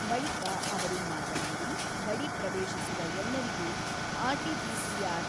ಬಳಿಕ ಅವರು ಮಾತನಾಡಿ, ಗಡಿ ಪ್ರವೇಶಿಸುವ ಎಲ್ಲರಿಗೂ ಆರ್.ಟಿ.ಪಿಸಿ.ಆರ್.